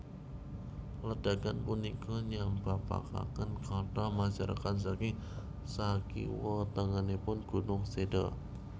Ledakan punika nyababaken kathah masyarakat saking sakiwa tengenipun gunung seda